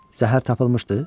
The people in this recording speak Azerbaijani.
Zəhər tapılmışdı?